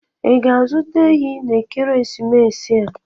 Ị ga-azụta ehi n'ekeresimesi a?